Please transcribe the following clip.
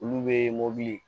Olu be mɔbili